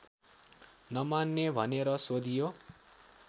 नमान्ने भनेर सोधियो